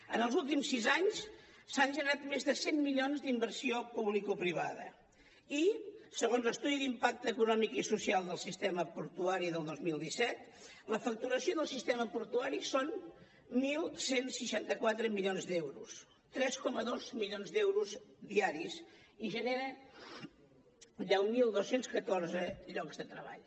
en els últims sis anys s’han generat més de cent milions d’inversió publicoprivada i segons l’estudi d’impacte econòmic i social del sistema portuari del dos mil disset la facturació del sistema portuari són onze seixanta quatre milions d’euros tres coma dos milions d’euros diaris i genera deu mil dos cents i catorze llocs de treball